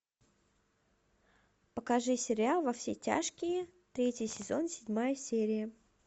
покажи сериал во все тяжкие третий сезон седьмая серия